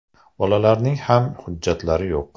Bolalarning ham hujjatlari yo‘q.